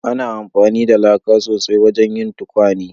Ana amfani da laka sosai wajen yin tukwane